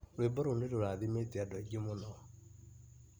Rwĩmbo rũu nĩrũrathimĩte and aingĩ mũno.